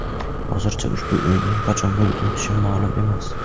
Hozircha ushbu o‘yinning qachon bo‘lib o‘tishi ma’lum emas.